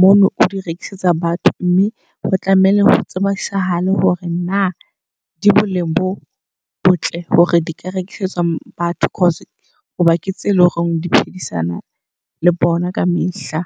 mono o di rekisetsa batho. Mme o tlamehile ho tsebisahala hore na di boleng bo botle hore di ka rekisetswa batho. Cause hoba ke tse leng hore di phedisana le bona ka mehla.